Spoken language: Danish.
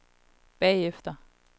bagefter